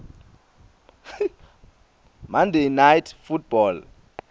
monday night football